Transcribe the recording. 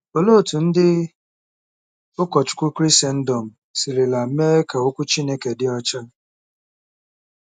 Olee otú ndị ụkọchukwu Krisendọm sirila mee ka Okwu Chineke dị ọcha?